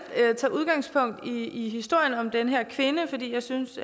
tage udgangspunkt i historien om den her kvinde fordi jeg synes